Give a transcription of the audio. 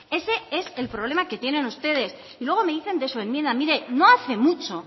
ese es el problema que tienen ustedes y luego me dicen de su enmienda mire no hace mucho